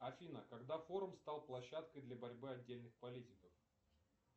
афина когда форум стал площадкой для борьбы отдельных политиков